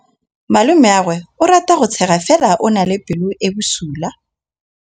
Malomagwe o rata go tshega fela o na le pelo e e bosula.